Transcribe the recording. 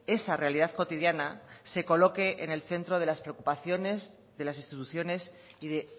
esa realidad cotidiana se coloque en el centro de las preocupaciones de las instituciones y de